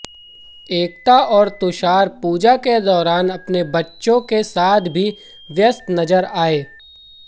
एकता और तुषार पूजा के दौरान अपने बच्चों के साथ भी व्यस्त नज़र आए